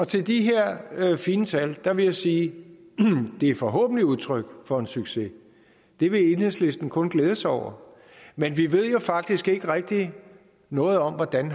til de her fine tal vil jeg sige de er forhåbentlig udtryk for en succes det vil enhedslisten kun glæde sig over men vi ved jo faktisk ikke rigtig noget om hvordan